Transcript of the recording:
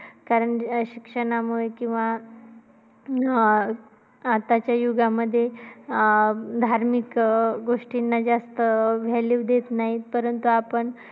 कारण अं शिक्षणामुळे किंवा अं आताच्या युगामध्ये अं धार्मिक गोष्टींना जास्त value देण्यापर्यंत आपण